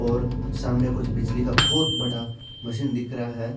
और सामने कुछ बिजली का बोहोत बड़ा मशीन दिख रहा है।